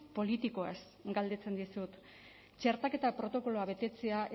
politikoaz galdetzen dizut txertaketa protokoloa betetzea